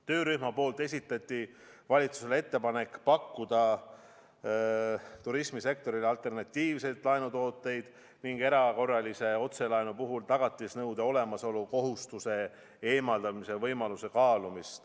Töörühm esitas valitsusele ettepaneku pakkuda turismisektorile alternatiivseid laenutooteid ning kaaluda võimalust loobuda erakorralise otselaenu puhul tagatisnõude kohustusest.